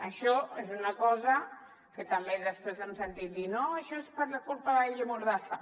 això és una cosa que també després hem sentit a dir no això és per culpa de la llei mordassa